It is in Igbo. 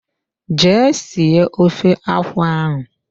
Jee sie ofe akwụ ahụ.